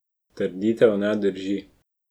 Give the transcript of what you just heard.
Trditev ne drži.